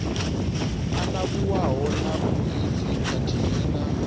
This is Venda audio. anavhuwaho na phoisi khathihi na